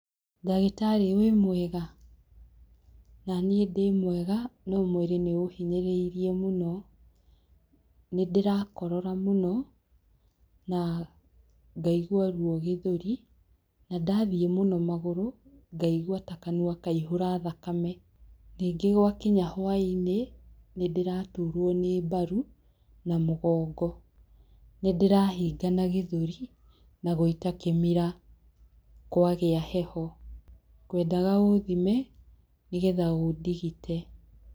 Ndagĩtarĩ wĩ mwega? Na niĩ ndĩmwega, no mwĩrĩ nĩ ũhinyĩrĩirie mũno. Nĩ ndĩrakorora mũno na ngaigua ruo gĩthũri. Na ndathiĩ mũno magũrũ, ngaigwa ta kanua kaihũra thakame. Ningĩ gwa kinya hwaĩ-inĩ, nĩ ndĩraturuo nĩ mbaru, na mũgongo. Nĩ ndĩrahingama gĩthũri na gũita kĩmira kwagĩa heho. Ngwendaga ũthime, nĩgetha ũndigite.